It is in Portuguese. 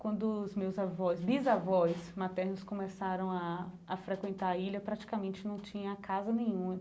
Quando os meus avós, bisavós, maternos começaram a a frequentar a ilha, praticamente não tinha casa nenhuma.